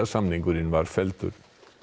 samningurinn var felldur